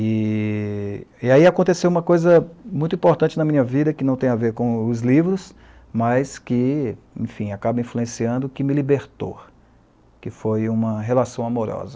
E e aí aconteceu uma coisa muito importante na minha vida, que não tem a ver com os livros, mas que, enfim, acaba influenciando, que me libertou, que foi uma relação amorosa.